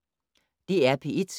DR P1